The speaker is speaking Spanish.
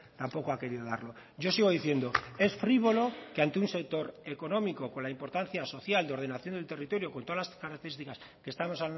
tampoco ha querido darlo yo sigo diciendo es frívolo que ante un sector económico con la importancia social de ordenación del territorio con todas las características que estamos